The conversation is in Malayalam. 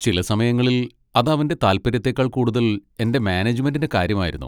ചില സമയങ്ങളിൽ അത് അവന്റെ താൽപ്പര്യത്തേക്കാൾ കൂടുതൽ എന്റെ മാനേജ്മെന്റിന്റെ കാര്യമായിരുന്നു.